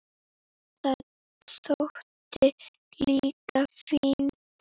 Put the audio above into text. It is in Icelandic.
Það þótti líka fínt.